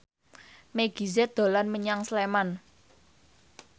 Meggie Z dolan menyang Sleman